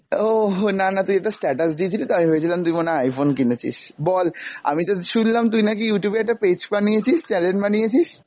ওহো না না তুই এটা status দিয়েছিলি তাই আমি ভেবেছিলাম তুই মনে হয় iphone কিনেছিস, বল আমি তো শুনলাম তুই নাকি Youtube এ একটা page বানিয়েছিস, channel বানিয়েছিস!